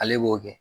Ale b'o kɛ